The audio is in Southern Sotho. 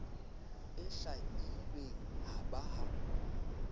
e hlwailweng ha ba ha